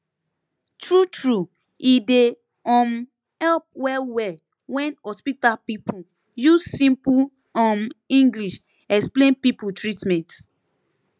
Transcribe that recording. true true e dey um help well well wen hospital people use simple um english explain people treatment